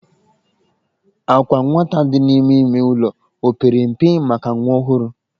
Àkwà nwata dị n'ime ime ụlọ o pere mpe maka nwa ọhụrụ?